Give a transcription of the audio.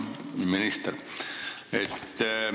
Hea minister!